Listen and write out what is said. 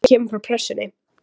Þetta kemur fram á Pressunni